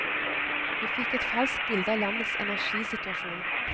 Vi fikk et falskt bilde av landets energisituasjon.